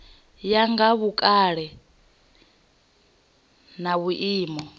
ya nga vhukale na vhuimo